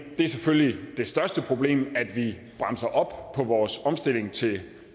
og det er selvfølgelig det største problem altså at vi bremser op på vores omstilling til